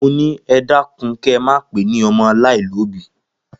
Mo ni, e dakun ke máa pe ni ọmọ alaialobi!